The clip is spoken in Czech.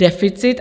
Deficit.